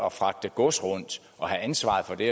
at fragte gods rundt og have ansvaret for det